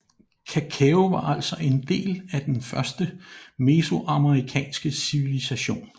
Kakao var altså en del af den første mesoamerikanske civilisation